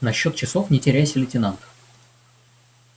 насчёт часов не теряйся лейтенант